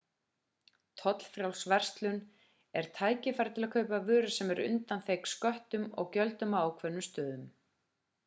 tollfrjáls verslun er tækifæri til að kaupa vörur sem eru undanþegnar sköttum og gjöldum á ákveðnum stöðum